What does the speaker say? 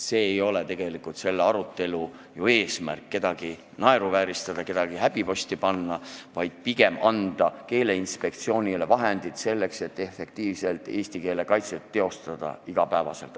Selle arutelu eesmärk ei ole kedagi naeruvääristada ega häbiposti panna, vaid pigem on eesmärk anda Keeleinspektsioonile vahendid selleks, et iga päev efektiivselt eesti keelt kaitsta.